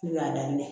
N y'a daminɛ